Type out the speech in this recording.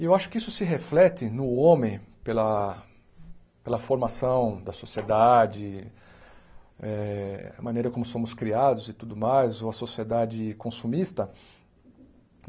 E eu acho que isso se reflete no homem pela pela formação da sociedade eh, a maneira como somos criados e tudo mais, ou a sociedade consumista.